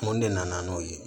Mun de nana n'o ye